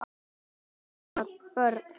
Karla, konur, börn.